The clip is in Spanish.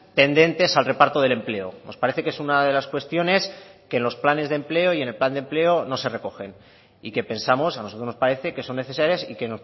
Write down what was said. tendentes al reparto del empleo nos parece que es una de las cuestiones que en los planes de empleo y en el plan de empleo no se recogen y que pensamos a nosotros nos parece que son necesarias y que